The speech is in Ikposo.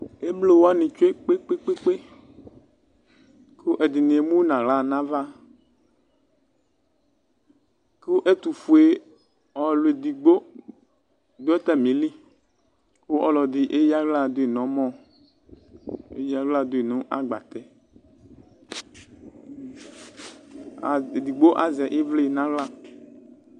emlo wani tsoe kpekpekpekpekʋ edini emu nu aɣla nʋ avakʋ ɛtufue ɔlu edigbo dʋ atamilikʋ ɔlɔdi eya aɣla duyi nʋ ɔmɔeya aɣla duyi nʋ agbatɛedigbo azɛ ivli nʋ aɣla